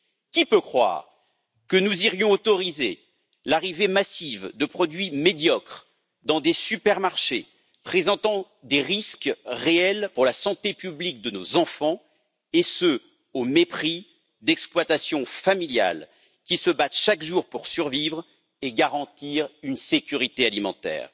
Qui peut croire que nous irions autoriser l'arrivée massive de produits médiocres dans des supermarchés, présentant des risques réels pour la santé publique et de nos enfants, et ce, au mépris d'exploitations familiales qui se battent chaque jour pour survivre et garantir la sécurité alimentaire?